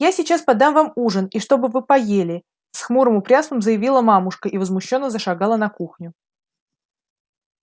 я сейчас подам вам ужин и чтоб вы поели с хмурым упрямством заявила мамушка и возмущённо зашагала на кухню